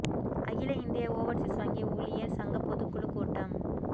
அகில இந்திய ஓவா்சீஸ் வங்கி ஊழியா் சங்கப் பொதுக் குழுக் கூட்டம்